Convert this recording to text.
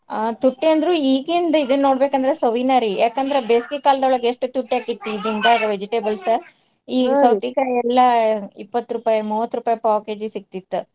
ಆ ತುಟ್ಟಿ ಅಂದ್ರು ಈಗಿಂದ್ ಈಗ ನೋಡ್ಬೇಕಂದ್ರ ಸವಿನಾ ರೀ. ಯಾಕಂದ್ರ ಬೇಸಿಗೆ ಕಾಲ್ದೊಳಗ ಎಷ್ಟ್ ತುಟ್ಟಿ ಆಕ್ಕಿತ್ತು ಈ ದಿನ್ದಾಗ vegetables . ಈ ಎಲ್ಲಾ ಇಪ್ಪತ್ತ್ ರೂಪಾಯಿ ಮೂವತ್ತ್ ರೂಪಾಯಿ ಪಾವ್ KG ಸಿಗ್ತಿತ್ತ್.